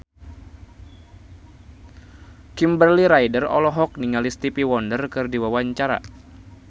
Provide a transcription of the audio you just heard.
Kimberly Ryder olohok ningali Stevie Wonder keur diwawancara